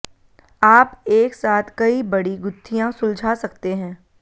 आप एक साथ कई बड़ी गुत्थियां सुलझा सकते हैं